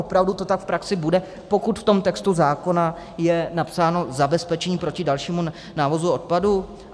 Opravdu to tak v praxi bude, pokud v tom textu zákona je napsáno: zabezpečení proti dalšímu návozu odpadu?